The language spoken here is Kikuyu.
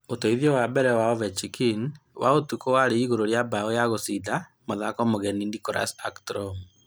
Ūteithio wa mbere wa Ovechkin wa ũtukũ warĩ igũrũ rĩa mbao ya gũcinda mathako nĩ mũgeni Nicklas ackstrom;